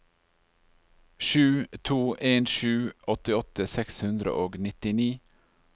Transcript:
sju to en sju åttiåtte seks hundre og nittini